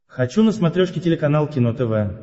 хочу на смотрешке телеканал кино тв